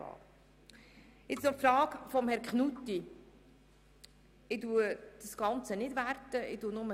Nun zur Frage von Herrn Grossrat Knutti: Ich werte das Ganze nicht, sondern sage lediglich: